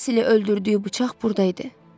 Basili öldürdüyü bıçaq burda idi.